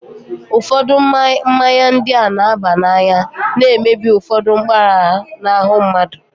Ụfọdụ mmanya ndị a na-aba n'anya na-emebi ụfọdụ mpaghara n'ahụ mmadụ.